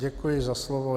Děkuji za slovo.